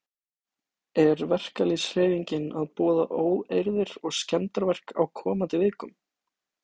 Er verkalýðshreyfingin að boða óeirðir og skemmdarverk á komandi vikum?